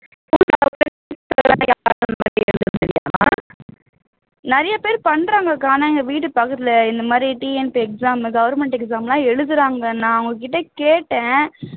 நிறைய பேர் பண்றாங்கக்கா ஆனா எங்க வீட்டு பக்கத்துல இந்த மாதிரி TNP exam government exam எல்லாம் எழுதுறாங்க நான் அவங்ககிட்ட கேட்டேன்